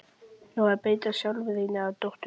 Nú á að beita sálfræðinni á dótturina.